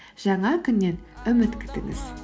жаңа күннен үміт күтіңіз